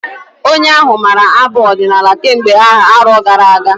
Onye ahụ maara abụ ọdinala kemgbe arọ gara-aga.